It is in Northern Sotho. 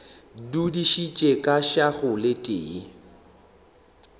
dudišitše ka šago le tee